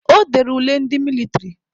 Ọ dere ule ndị mịlịtrị.